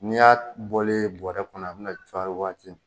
N'i y'a bɔlen yen bɔrɛ kɔnɔ a bɛ na cua waati min.